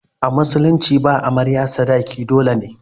A musulunci ba amarya sadaki dole ne.